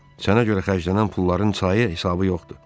Sənə görə xərclənən pulların sayı-hesabı yoxdur.